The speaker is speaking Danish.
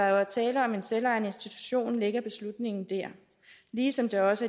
er tale om en selvejende institution ligger beslutningen der ligesom det også